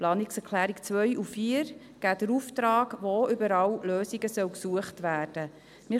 Die Planungserklärungen 2 und 4 geben den Auftrag, wo überall Lösungen gesucht werden sollen.